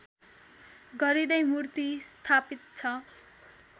गरिँदै मूर्ति स्‍थापित छ